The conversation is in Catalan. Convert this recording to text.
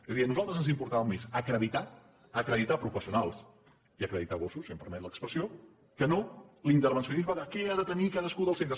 és a dir a nosaltres ens importava més acreditar acreditar professionals i acreditar gossos si em permet l’expressió que no l’intervencionisme de què ha de tenir cadascun dels centres